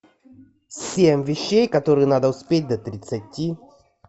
семь вещей которые надо успеть до тридцати